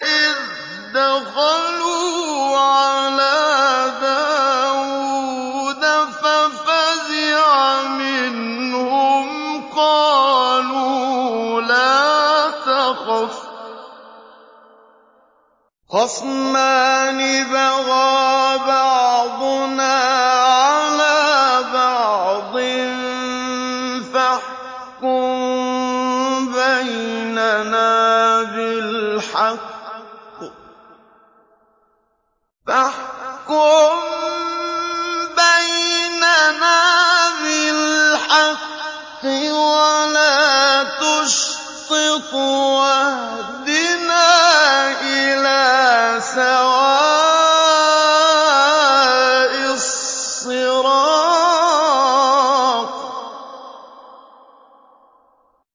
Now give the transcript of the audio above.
إِذْ دَخَلُوا عَلَىٰ دَاوُودَ فَفَزِعَ مِنْهُمْ ۖ قَالُوا لَا تَخَفْ ۖ خَصْمَانِ بَغَىٰ بَعْضُنَا عَلَىٰ بَعْضٍ فَاحْكُم بَيْنَنَا بِالْحَقِّ وَلَا تُشْطِطْ وَاهْدِنَا إِلَىٰ سَوَاءِ الصِّرَاطِ